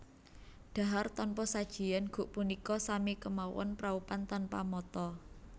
Dhahar tanpa sajian guk punika sami kemawon praupan tanpa mata